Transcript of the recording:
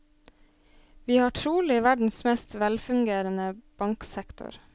Vi har trolig verdens mest velfungerende banksektor.